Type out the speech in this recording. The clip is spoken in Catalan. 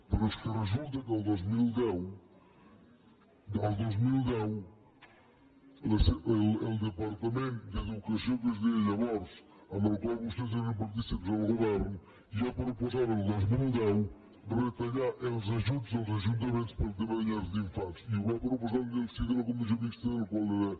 però és que resulta que el dos mil deu el dos mil deu el departament d’educació que es deia llavors amb el qual vostès eren partícips al govern ja proposava el dos mil deu retallar els ajuts als ajuntaments per al tema de llars d’infants i ho va proposar en el si de la comissió mixta de la qual era